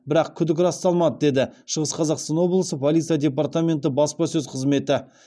бірақ күдік расталмады деді шығыс қазақстан облысы полиция департаменті баспасөз қызметі